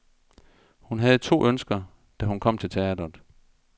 Hun havde to ønsker, da hun kom til teatret.